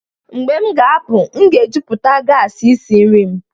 mgbe m ga-apụ, m ga-ejupụta gas isi nri m